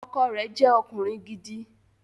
Ọkọ rẹ̀ jẹ́ ọkùnrin gidi